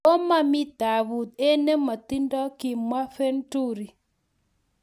"Komomii taabut en nemotindo," kimwa Venturi